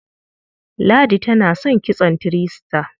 Ladi tana son kitson three star.